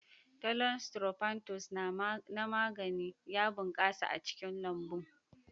Thollon Sttrophanthus na magani ya bunƙasa a cikin lambun.